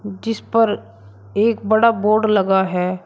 जिस पर एक बड़ा बोर्ड लगा है।